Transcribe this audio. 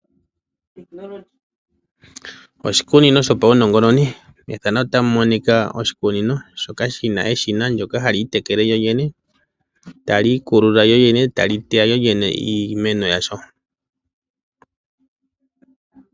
Oshikunino shopawu nongononi. Methano ota mu monika oshikunino shoka shina eshina ndyoka hali itekele lyolyene tali iikulula, lyolyene tali teya lyolyene iimeno yalyo.